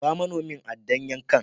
Ba manomin aɗɗan yankan.